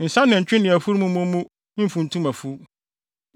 Nsa nantwi ne afurum mmɔ mu mfuntum afuw.